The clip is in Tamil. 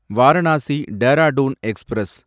வாரணாசி டேராடூன் எக்ஸ்பிரஸ்